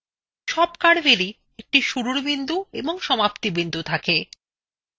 সব curvesএরই একটি শুরুর বিন্দু এবং সমাপ্তি বিন্দু থাকে